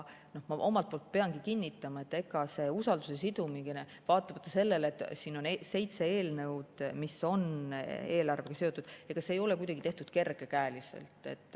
Ma omalt poolt pean kinnitama, et see usaldusega sidumine vaatamata sellele, et siin on seitse eelnõu, mis on eelarvega seotud, ei ole kuidagi tehtud kergekäeliselt.